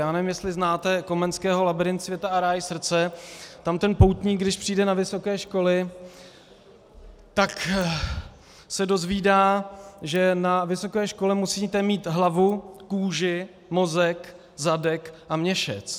Já nevím, jestli znáte Komenského Labyrint světa a ráj srdce, tam ten poutník, když přijde na vysoké školy, tak se dozvídá, že na vysoké škole musíte mít hlavu, kůži, mozek, zadek a měšec.